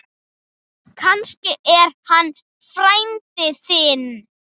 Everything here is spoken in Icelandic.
Kannski er hann frændi þinn.